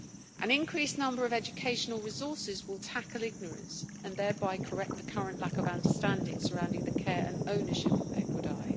An increased number of educational resources will tackle ignorance and thereby correct the current lack of understanding surrounding the care and ownership of equidae.